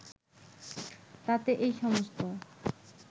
তাতে এই সমস্ত